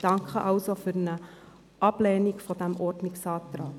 Danke also für eine Ablehnung des Ordnungsantrags.